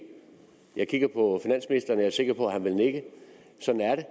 jeg kigger på finansministeren og jeg er sikker på at han vil nikke sådan er